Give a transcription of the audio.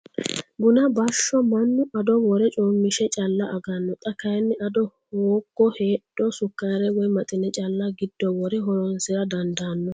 Buna bashsho mannu ado wore coomishe calla agano xa kayinni ado hoogo heedho sukare woyi maxine calla giddo wore horonsira dandaano.